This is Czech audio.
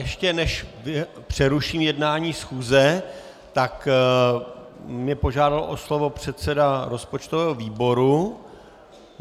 Ještě než přeruším jednání schůze, tak mě požádal o slovo předseda rozpočtového výboru.